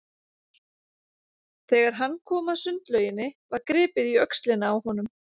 Þegar hann kom að sundlauginni var gripið í öxlina á honum.